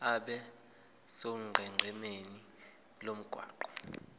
abe sonqenqemeni lomgwaqo